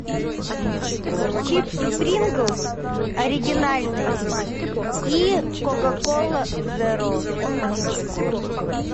чипсы принглс оригинальные и кока кола зеро